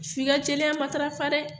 F'i ka jɛya matarafa dɛ!